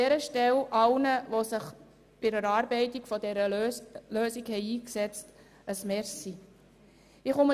An dieser Stelle danke ich allen, die sich an der Erarbeitung dieser Lösung beteiligt haben.